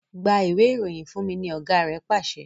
Gba Ìwé-ìròyìn fúnmi! ní ọgá rẹ pàṣẹ.